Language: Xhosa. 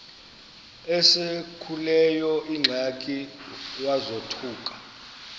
esekuleyo ingxaki wazothuka